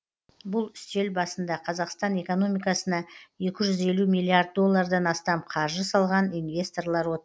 бұл үстел басында қазақстан экономикасына екі жүз елу миллиард доллардан астам қаржы салған инвесторлар отыр